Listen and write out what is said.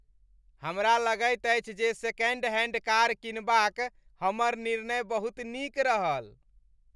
हमरा लगैत अछि जे सेकेंड हैंड कार किनबाक हमर निर्णय बहुत नीक रहल।